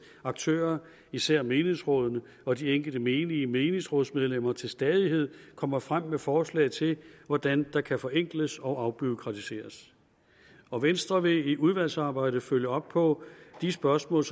aktører især menighedsrådene og de enkelte menige menighedsrådsmedlemmer til stadighed kommer frem med forslag til hvordan der kan forenkles og afbureaukratiseres og venstre vil i udvalgsarbejdet følge op på de spørgsmål